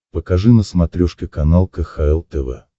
покажи на смотрешке канал кхл тв